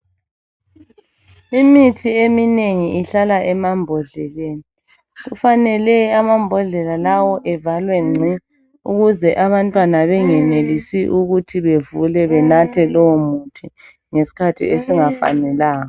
Imithi eminengi ihlala emambodleleni, kufanele amambodlela lawo evalwe ngci ukuze abantwana bengenelisi ukuthi bevule benathe lowomuthi ngesikhathi esingafanelanga.